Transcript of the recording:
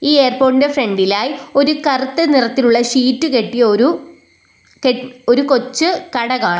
ഈ എയർപോർട്ടിന്റെ ഫ്രണ്ടിലായി ഒരു കറുത്ത നിറത്തിലുള്ള ഷീറ്റ് കെട്ടിയ ഒരു കെ ഒരു കൊച്ചു കട കാ --